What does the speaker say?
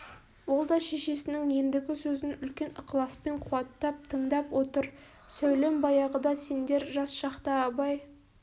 ол да шешесінің ендігі сөзін үлкен ықыласпен қуаттап тыңдап отыр сәулем баяғыда сендер жас шақта абай